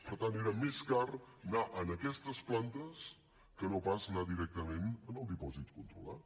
per tant era més car anar a aquestes plantes que no pas anar directament al dipòsit controlat